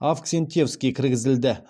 авксентьевский кіргізілді